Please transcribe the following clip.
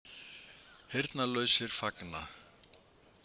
Heyrnarlausir fagna